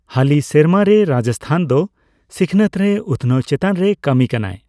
ᱦᱟᱹᱞᱤ ᱥᱮᱨᱢᱟ ᱨᱮ, ᱨᱟᱡᱥᱛᱷᱟᱱ ᱫᱚ ᱥᱤᱠᱷᱱᱟᱹᱛ ᱨᱮ ᱩᱛᱱᱟᱹᱣ ᱪᱮᱛᱟᱱ ᱨᱮᱭ ᱠᱟᱹᱢᱤ ᱠᱟᱱᱟᱭ ᱾